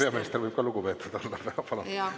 Peaminister võib ka lugupeetud olla.